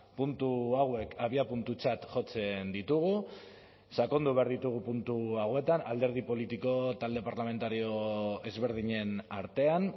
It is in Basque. puntu hauek abiapuntutzat jotzen ditugu sakondu behar ditugu puntu hauetan alderdi politiko talde parlamentario ezberdinen artean